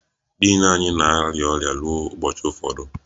Din anyị na-arịa ọrịa ruo ụbọchị ụfọdụ